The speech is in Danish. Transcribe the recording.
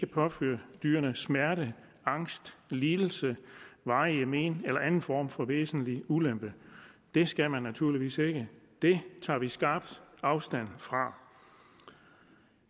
påføre dyrene smerte angst lidelse varige men eller anden form for væsentlig ulempe det skal man naturligvis ikke det tager vi skarpt afstand fra